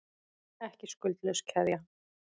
Ekki skuldlaus keðja